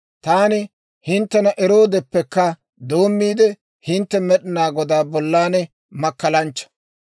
Taani hinttena eroodeppekka doommiide, hintte Med'inaa Godaa bollan makkalanchcha.